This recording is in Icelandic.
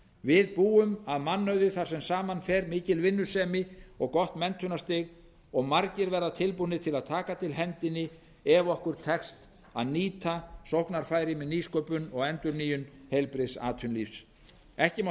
við búum að mannauði þar sem saman fer mikil vinnusemi og gott menntunarstig og margir verða tilbúnir til að taka til hendinni ef okkur tekst að nýta sóknarfæri með nýsköpun og endurnýjun heilbrigðs atvinnulífs ekki má